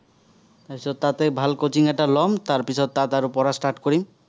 তাৰ পিছত তাতে ভাল coaching এটা ল'ম, পিচত তাত আৰু পঢ়া start কৰিম।